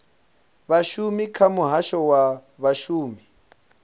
vhashumi kha muhasho wa vhashumi